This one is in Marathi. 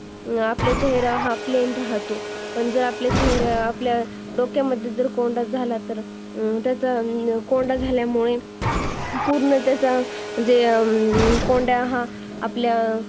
आपला चेहरा हा plain राहतो आपल्या डोक्यामध्ये जर कोंडा झाला तर पूर्णतः आपल्या चेहऱ्यामध्ये